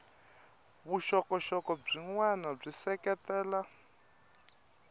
vuxokoxoko byin wana byi seketela